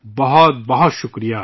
بہت بہت شکریہ